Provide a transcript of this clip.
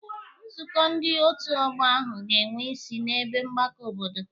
Nzukọ ndị otu ọgbọ ahụ ga-enwe isi n'ebe mgbakọ obodo.